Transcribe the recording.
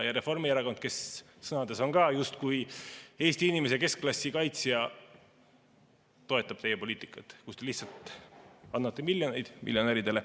Ja Reformierakond, kes sõnades on ka justkui Eesti inimese, keskklassi kaitsja, toetab teie poliitikat, kus te lihtsalt annate miljoneid miljonäridele.